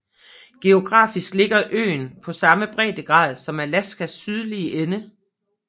Geografisk ligger øen på samme breddegrad som Alaskas sydlige ende